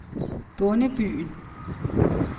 Bondebyen